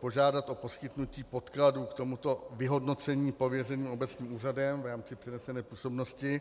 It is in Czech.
požádat o poskytnutí podkladů k tomuto vyhodnocení pověřeným obecním úřadem v rámci přenesené působnosti.